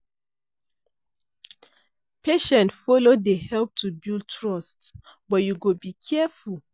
Patient follow dey help to build trust, but you go be careful.